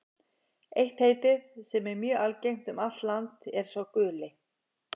Eitt heitið, sem er mjög algengt um allt land, er sá guli.